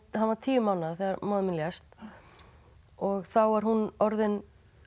hann var tíu mánaða þegar móðir mín lést og þá var hún orðin